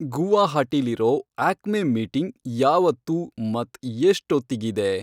ಗುವಾಹಟೀಲಿರೋ Acme meeting ಯಾವತ್ತು ಮತ್ತ್ ಎಷ್ಟೊತ್ತಿಗಿದೆ